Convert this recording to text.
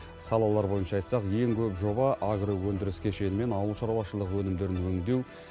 салалар бойынша айтсақ ең көп жоба агроөндіріс кешені мен ауыл шаруашылығы өнімдерін өңдеу